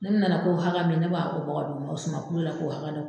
N'o bɛ nana ko hakɛ min, ne b'a ko bɔ k'a d'o ma, o suma kilo la ma k'o hakɛ hakɛ